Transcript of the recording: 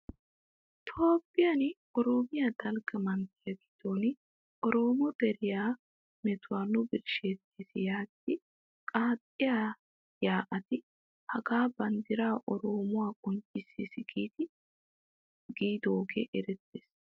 Toophphiyan oromiyaa dalgga manttiyaa giddon oromo deriyaa metuwaa nu birshshetees yaagidi qaaxxiya yaa'atti hagaa banddira oromuwaa qonccisees giidi giigidogage erettees.